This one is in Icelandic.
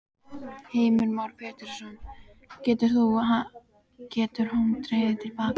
Heimir Már Pétursson: Getur hann dregið til baka?